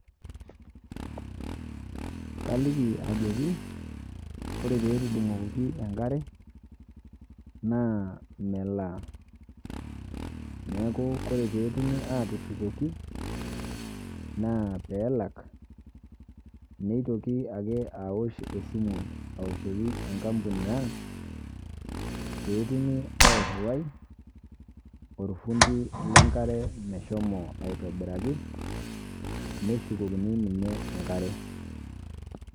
Kaliki ajoki, ore petudung'okoki enkare, naa melaa. Neeku ore petumi atushukoki, naa pelak, nitoki ake awosh esimu aoshoki enkampuni ang', petumi airriwai, orfundi lenkare meshomo aitobiraki, neshukokini enkare.